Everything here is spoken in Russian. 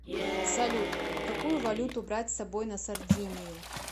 салют какую валюту брать с собой на сардинию